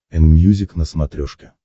энмьюзик на смотрешке